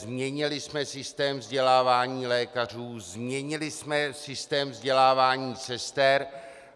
Změnili jsme systém vzdělávání lékařů, změnili jsme systém vzdělávání sester.